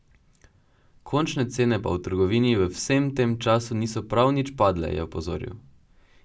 Končne cene pa v trgovini v vsem tem času niso prav nič padle, je opozoril.